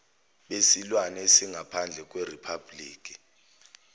besilwane esingaphandle kweriphabhuliki